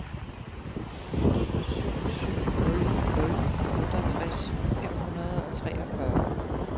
syv syv nul nul otteogtres fem hundrede og treogfyrre